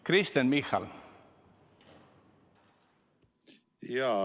Kristen Michal, palun!